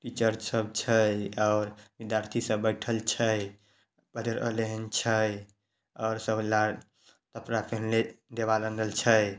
Teacher सब छै और विद्यार्थी सब बैठल छै पढ़ रहलेन छै आर सब लाल कपड़ा पहिनले दीवार रंगल छै।